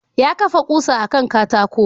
Ya kafa ƙusa a kan katako.